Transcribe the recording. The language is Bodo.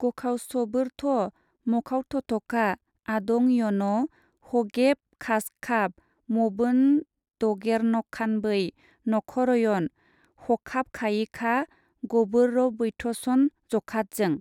गखावसबोरथ' मखावथथखखा-आदं यन हगेफखाजखाब मबोनदगेरनखानबै नखरयन हखाबखायिखा गबोररबैथसन जखादजों।